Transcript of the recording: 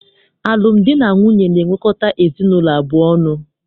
Alụmdi na nwunye na-ewekọta ezinaụlọ abụọ ọnụ.